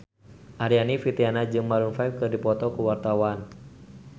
Aryani Fitriana jeung Maroon 5 keur dipoto ku wartawan